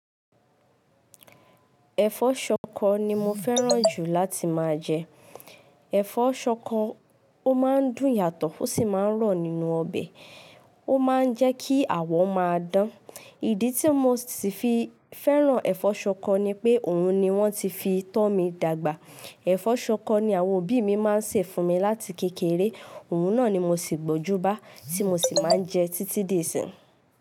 Ẹ̀fọ́ ṣọkọ ni mo fẹ́ràn jù láti máa jẹ. Ẹ̀fọ́ ṣọkọ, ó máa ń dùn yàtọ̀ ó sì máa ń rọ̀ nínú ọbẹ̀, ó máa ń jẹ́ kí àwọ̀ máa dán. Ìdí tí mo ti fi fẹ́ràn ẹ̀fọ́ ṣọkọ ni pé òun ni wọ́n ti fi tọ mi dàgbà. Ẹ̀fọ́ ṣọkọ ni àwọn òbí mi máa ń sè fún mi láti kékeré, òun náà ni mo sì gbọnjú bá tí mo sì máa ń jẹ títí di isín.